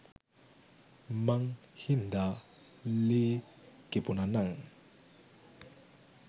මං හින්ද ලේ කිපුණ නං.